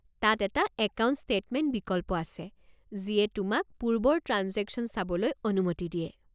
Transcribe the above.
তাত এটা account statement বিকল্প আছে যিয়ে তোমাক পূৰ্বৰ ট্ৰাঞ্জেকশ্যন চাবলৈ অনুমতি দিয়ে।